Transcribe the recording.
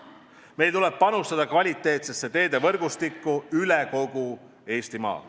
Meil tuleb panustada kvaliteetsesse teedevõrgustikku üle kogu Eestimaa.